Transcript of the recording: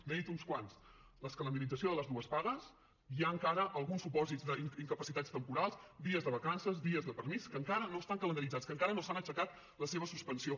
n’he dit uns quants la calendarització de les dues pagues hi ha encara alguns supòsits d’incapacitats temporals dies de vacances dies de permís que encara no estan calendaritzats que encara no s’han aixecat les seves suspensions